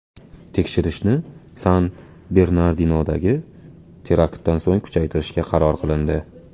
Tekshirishni San-Bernardinodagi teraktdan so‘ng kuchaytirishga qaror qilindi.